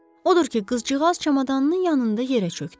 Odur ki, qızcığaz çamadanının yanında yerə çökdü.